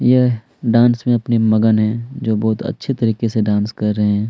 यह अपने डांस में मगन है जो बहोत अच्छी तरीके से डांस कर रहे है।